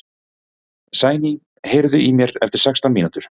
Sæný, heyrðu í mér eftir sextán mínútur.